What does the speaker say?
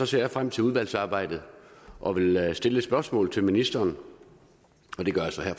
ser jeg frem til udvalgsarbejdet og vil stille et spørgsmål til ministeren og det gør jeg så her